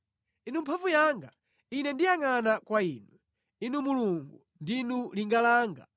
Inu mphamvu yanga, ine ndiyangʼana kwa inu; Inu Mulungu, ndinu linga langa.